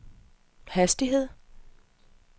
hastighed